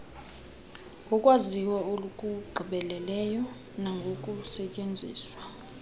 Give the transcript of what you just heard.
ngokwaziwa okugqibeleleyo nangokusetyenziswa